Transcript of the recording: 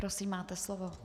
Prosím, máte slovo.